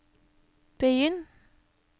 begynn